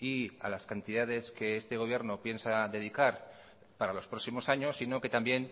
y a las cantidades que este gobierno piensa dedicar para los próximos años sino que también